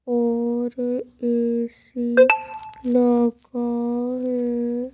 और ए_सी लगा है।